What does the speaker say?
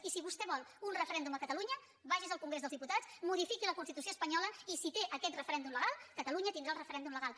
i si vostè vol un referèndum a catalunya vagi al congrés dels diputats modifiqui la constitució espanyola i si té aquest referèndum legal catalunya tindrà el referèndum legal